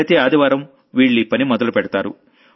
ప్రతి ఆదివారం వీళ్లీ పని మొదలుపెడతారు